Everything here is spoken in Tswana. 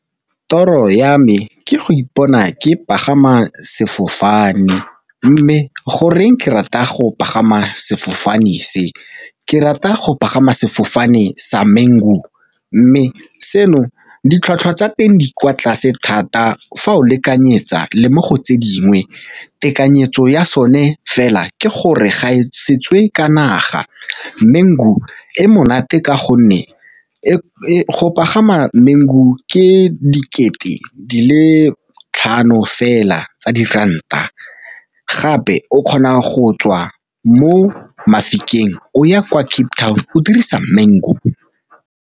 Toro ya me ke go ipona ke pagama sefofane, mme goreng ke rata go pagama sefofane se, ke rata go pagama sefofane sa Mango, mme seno ditlhwatlhwa tsa teng di kwa tlase thata fa o lekanyetsa le mo go tse dingwe tekanyetso ya sone fela ke gore ga e setswe ka naga. Mango e monate ka gonne go pagama Mango ke dikete di le tlhano fela tsa diranta, gape o kgona go tswa mo Mafikeng o ya kwa Cape Town o dirisa Mango.